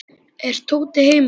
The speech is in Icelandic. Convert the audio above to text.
Er Tóti heima?